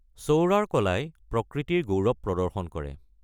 সৌৰাৰ কলাই প্ৰকৃতিৰ গৌৰৱ প্ৰদৰ্শন কৰে।